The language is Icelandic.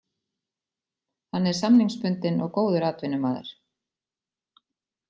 Hann er samningsbundinn og góður atvinnumaður.